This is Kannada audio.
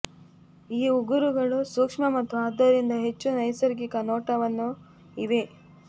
ಈ ಉಗುರುಗಳು ಸೂಕ್ಷ್ಮ ಮತ್ತು ಆದ್ದರಿಂದ ಹೆಚ್ಚು ನೈಸರ್ಗಿಕ ನೋಟವನ್ನು ಇವೆ